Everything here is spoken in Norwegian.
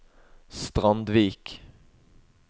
Strandvik